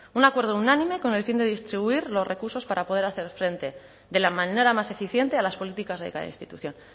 un acuerdo unánime con el fin de distribuir los recursos para poder hacer frente de la manera más eficiente a las políticas de cada institución